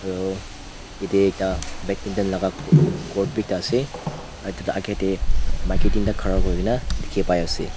aro yatae ekta badminton laka court biekta ase aro edu la akae tae maki teenta khara kurikaena dikhipaiase.